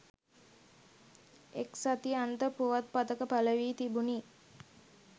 එක් සති අන්ත පුවත් පතක පළ වී තිබුණි